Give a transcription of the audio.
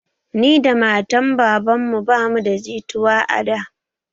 Ni da matan babanmu ba mu da jituwa a da